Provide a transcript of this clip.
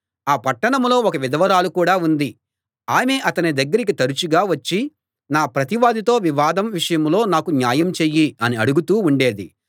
ఆ పట్టణంలో ఒక విధవరాలు కూడా ఉంది ఆమె అతని దగ్గరికి తరచుగా వచ్చి నా ప్రతివాదితో వివాదం విషయంలో నాకు న్యాయం చెయ్యి అని అడుగుతూ ఉండేది